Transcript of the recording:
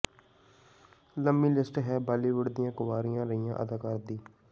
ਲੰਮੀ ਲਿਸਟ ਹੈ ਬਾਲੀਵੁੱਡ ਦੀਆਂ ਕੁਆਰੀਆਂ ਰਹੀਆਂ ਅਦਾਕਾਰਾਂ ਦੀ